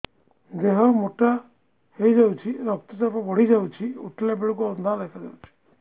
ଦେହ ମୋଟା ହେଇଯାଉଛି ରକ୍ତ ଚାପ ବଢ଼ି ଯାଉଛି ଉଠିଲା ବେଳକୁ ଅନ୍ଧାର ଦେଖା ଯାଉଛି